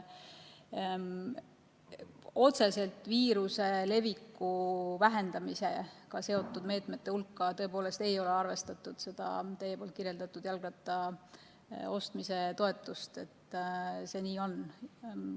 Otseselt viiruse leviku vähendamisega seotud meetmete hulka tõepoolest ei ole arvestatud seda teie kirjeldatud jalgratta ostmise toetust, see nii on.